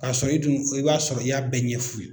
Ka sɔrɔ i dun i b'a sɔrɔ i y'a bɛɛ ɲɛf'u ye.